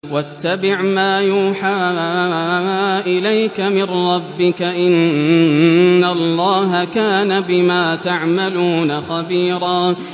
وَاتَّبِعْ مَا يُوحَىٰ إِلَيْكَ مِن رَّبِّكَ ۚ إِنَّ اللَّهَ كَانَ بِمَا تَعْمَلُونَ خَبِيرًا